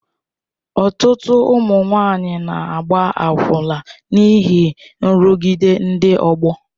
Ọtụtụ ụmụ nwanyị na-agba akwụna n'ihi nrụgide ndị ọgbọ.